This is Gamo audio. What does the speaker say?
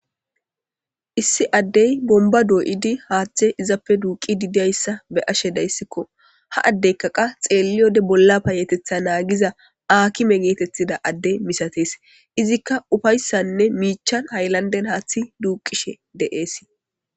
Issi addey bomba dou''di haaththe izappe duuqi didiyayssa be ashe dayssikko ha addeykka qa xeelliyode bolla paayetetha naagiza akime geetethida adde misatees izikka ufayssanne miichan hayllanden haaththi duuqishe de'ees.